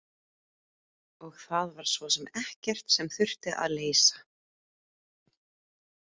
Og það var svo sem ekkert sem þurfti að leysa.